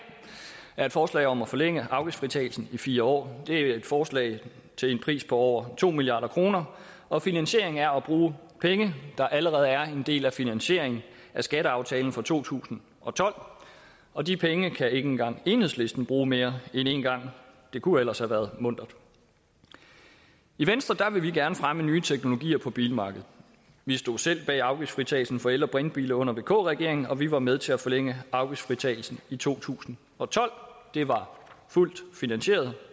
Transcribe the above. er et forslag om at forlænge afgiftsfritagelsen i fire år det er et forslag til en pris på over to milliard kr og finansieringen er at bruge penge der allerede er en del af finansieringen af skatteaftalen for to tusind og tolv og de penge kan ikke engang enhedslisten bruge mere end en gang det kunne ellers have været muntert i venstre vil vi gerne fremme nye teknologier på bilmarkedet vi stod selv bag afgiftsfritagelsen for el og brintbiler under vk regeringen og vi var med til at forlænge afgiftsfritagelsen i to tusind og tolv det var fuldt finansieret